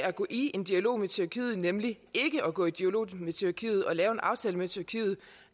at gå i dialog med tyrkiet nemlig ikke at gå i dialog med tyrkiet ikke at lave en aftale med tyrkiet